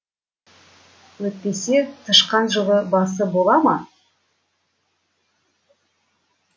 өйтпесе тышқан жыл басы бола ма